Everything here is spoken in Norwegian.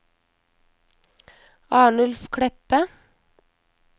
Arnulf Kleppe